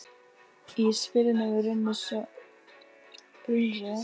Í spilunum runnu svo upp kóngar og sjöur.